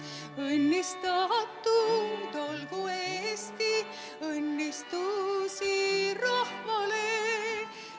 Õnnistatud olgu Eesti, õnnistusi rahvale!